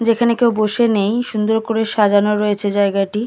যেখানে কেউ বসে নেই। সুন্দর করে সাজানো রয়েছে জায়গাটি।